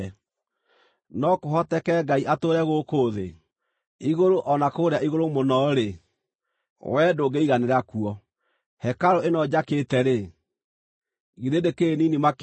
“No kũhoteke Ngai atũũre gũkũ thĩ? Igũrũ, o na kũrĩa igũrũ mũno-rĩ, wee ndũngĩiganĩra kuo. Hekarũ ĩno njakĩte-rĩ, githĩ ndĩkĩrĩ nini makĩria!